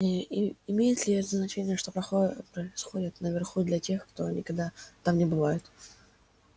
и и имеет ли значение что происходит наверху для тех кто никогда там не бывает